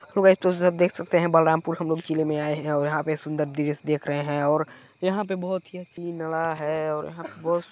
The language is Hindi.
हेलो गाइस तो आप देख सकते है बलरामपुर हमलोग किले मे आये हैं और यहाँ पे सुन्दर दृश्य देख रहे हैं और यहाँ पे बहुत ही और यहाँ --